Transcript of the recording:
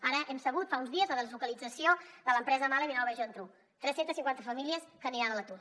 ara hem sabut fa uns dies la deslocalització de l’empresa mahle a vilanova i la geltrú tres cents i cinquanta famílies que aniran a l’atur